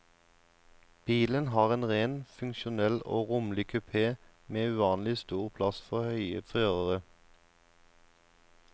Bilen har en ren, funksjonell og rommelig kupè med uvanlig stor plass for høye førere.